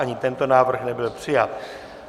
Ani tento návrh nebyl přijat.